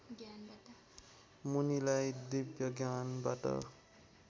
मुनिलाई दिव्य ज्ञानबाट